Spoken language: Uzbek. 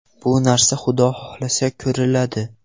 Bu narsa, Xudo xohlasa ko‘riladi.